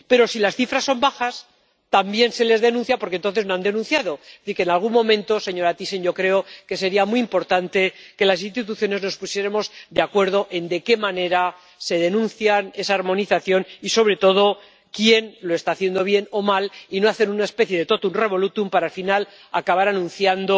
pero si las cifras son bajas, también se les denuncia, porque no han denunciado. Es decir, que en algún momento, señora Thyssen, yo creo que sería muy importante que las instituciones nos pusiéramos de acuerdo en de qué manera se denuncia, en esa armonización y, sobre todo, en quién lo está haciendo bien o mal, y no hacer una especie de totum revolutum para al final acabar anunciando